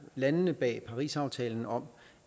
landene bag parisaftalen om